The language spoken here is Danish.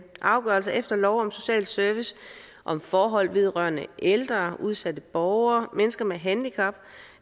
afgørelser efter lov om social service om forhold vedrørende ældre udsatte borgere mennesker med handicap